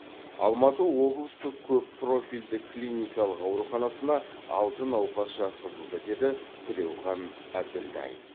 алматы облыстық көп профильді клиникалық ауруханасына алты науқас жатқызылды деді тілеухан әбділдаев